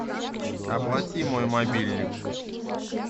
оплати мой мобильник